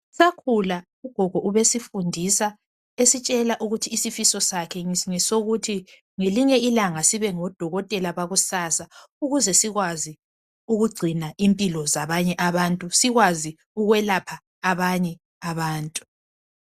Sisakula ugogo wayesifundisa esitshela ukuthi isifiso sakhe ngelinye ilanga sibe ngodokotela bakusasa Ukuze sikwazi ukugcina imphilo zabanye abantu, sikwazi ukwelapha abanye abantu.